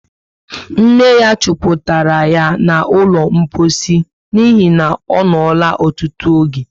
Nne ya chuputara yá ná ụlọ mposi n'ihi na onola ọtụtụ oge